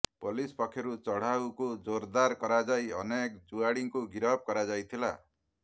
police ପକ୍ଷରୁ ଚଢାଉକୁ ଜୋରଦାର କରାଯାଇ ଅନେକ ଜୁଆଡିଙ୍କୁ ଗିରଫ କରାଯାଇଥିଲା